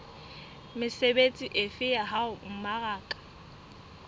mesebetsi efe ya ho mmaraka